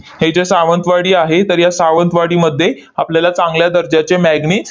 हे जे सावंतवाडी आहे, तर या सावंतवाडीमध्ये आपल्याला चांगल्या दर्जाचे manganese